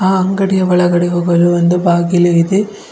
ಆ ಅಂಗಡಿಯ ಒಳಗಡೆ ಹೋಗಲು ಒಂದು ಬಾಗಿಲು ಇದೆ.